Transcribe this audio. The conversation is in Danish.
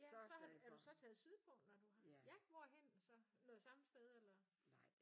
Ja så har du er du så taget sydpå når du har? Ja hvorhenne noget samme sted eller?